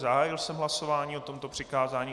Zahájil jsem hlasování o tomto přikázání.